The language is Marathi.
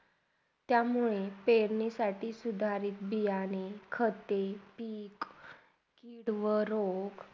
त्यामुळे पेरणीसाठी सुधारीत दियाने, खते, पीक किव्हा रोप.